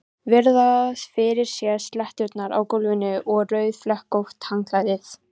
Virða fyrir sér sletturnar á gólfinu og rauðflekkótt handklæðið.